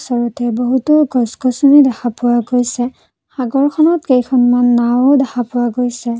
বহুতো গছ গছনি দেখা পোৱা গৈছে সাগৰখনত কেইখনমান নাও ও দেখা পোৱা গৈছে।